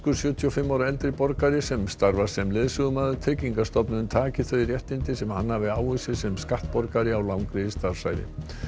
sjötíu og fimm ára eldri borgari sem starfar sem leiðsögumaður tryggingastofnun taki þau réttindi sem hann hafi áunnið sér sem skattborgari á langri starfsævi